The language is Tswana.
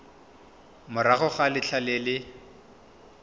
morago ga letlha le le